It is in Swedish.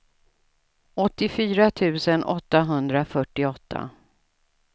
åttiofyra tusen åttahundrafyrtioåtta